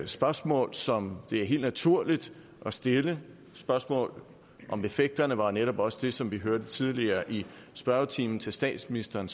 spørgsmål som det er helt naturligt at stille spørgsmål om effekterne var netop også det som vi hørte tidligere i spørgetimen til statsministeren